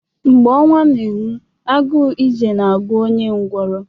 Mgbe ọnwa na-enwu, agụụ ije na-agụ onye ngwọrọ